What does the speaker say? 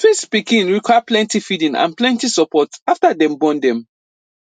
twins pikin require pleny feeding and plenty support after dem born dem